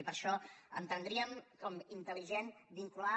i per això entendríem com a intel·ligent vincular